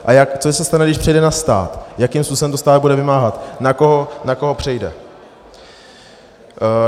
A co se stane, když přejde na stát, jakým způsobem to stát bude vymáhat, na koho přejde?